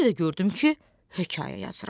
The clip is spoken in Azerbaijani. Bir də gördüm ki, hekayə yazıram.